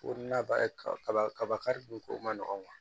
Ko na ba kaba kaba kari dun ko man nɔgɔn